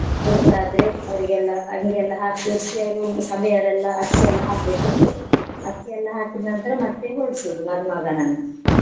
ಹುಡ್ಗ ಆದ್ರೆ ಅವ್ರಿಗೆಲ್ಲ ಅಂಗಿ ಎಲ್ಲ ಹಾಕಿ ಸಭೆಯವರೆಲ್ಲ ಅಕ್ಕಿ ಎಲ್ಲ ಹಾಕ್ಲಿಕುಂಟು. ಅಕ್ಕಿ ಎಲ್ಲ ಹಾಕಿದ್ನಂತ್ರ ಮತ್ತೆ ಹೊರಡ್ಸೋದು ಮದುಮಗನನ್ನ.